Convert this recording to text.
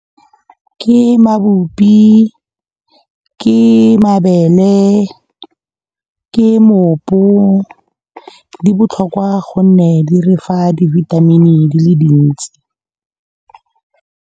Ke mabupi, ke mabele, ke mopo di botlhokwa gonne di re fa di-vitamin-e di le dintsi.